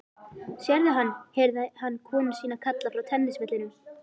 Sérðu hann? heyrði hann konu sína kalla frá tennisvellinum.